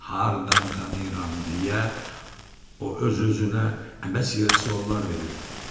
Hardan tanıyıram deyə o öz-özünə əbəs yerə suallar verirdi.